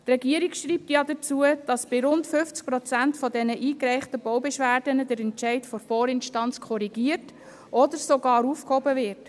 Die Regierung schreibt dazu, bei rund 50 Prozent der eingereichten Baubeschwerden werde der Entscheid der Vorinstanz korrigiert oder sogar aufgehoben.